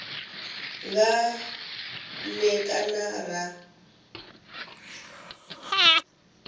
nga n e kana ra